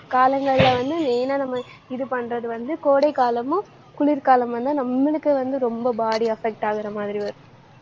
காலங்கள்ல வந்து main ஆ நம்ம இது பண்றது வந்து கோடை காலமும், குளிர்காலம் வந்து நம்மளுக்கு வந்து ரொம்ப body affect ஆகுற மாதிரி வரும்.